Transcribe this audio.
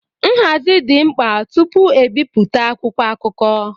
Nhazi dị mkpa tupu ebipụta akwụkwọ akụkọ.